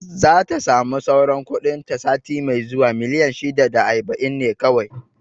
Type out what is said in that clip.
Zata sami sauran kuɗin ta sati mai zuwa, miliyan shida da aiba'in ne kawai